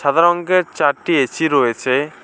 সাদা রঙ্গের চারটি এ_সি রয়েছে।